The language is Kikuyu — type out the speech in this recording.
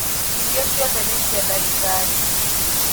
Irio ciothe nĩcia dagĩtarĩ.